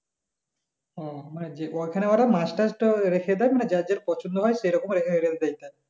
ও মানে যে ওখানে অরা মাছ টাচ টা রেখে দেয় মানে যার যার পছন্দ হয় সেরকম